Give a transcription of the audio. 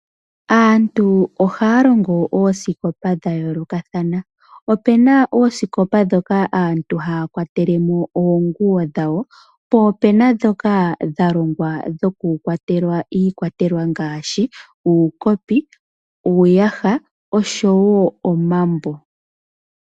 Aantu ohaa longo oosikopa dha yoolokathana. Opena oosikopa ndhoka aantu haya kwatele mo oonguwo dhawo, po opena ndhoka dha longwa dhokukwatelwa iikwatelwa ngaashi uukopi, uuyaha oshowo omambo.